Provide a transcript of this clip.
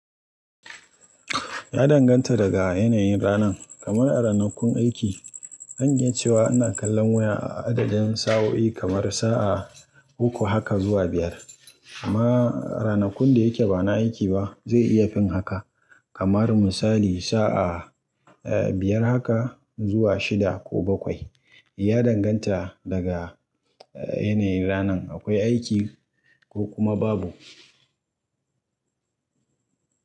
Ya danganta daga yanayin ranan, kamar a ranakun aiki zan iya cewa ina kallon waya a adadin sa'o'i kamar sa'a uku haka zuwa biyar. Amma ranakun da yake ba na aiki ba zai iya fin haka, kamar misali sa'a, eh, biyar haka zuwa shida ko bakwai. Ya danganta daga, eh, yanayin ranan akwai aiki ko kuma babu.